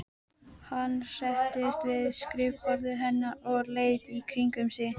Hann settist við skrifborðið hennar og leit í kringum sig.